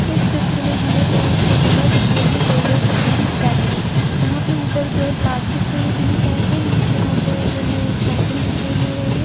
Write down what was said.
इस चित्र में हमें एक जगह दिखाई दे रही है जो पूरी पैक है यहाँ पे ऊपर जो है प्लास्टिक्स से ये पूरी पैक है नीचे यहाँ पे जो है एक साइकिल दिखाई दे रही है।